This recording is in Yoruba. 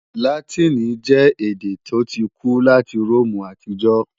Látìnì jẹ́ èdè tó ti kú láti Róòmù àtijọ́